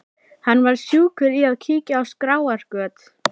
Hann var sjúkur í að kíkja á skráargöt.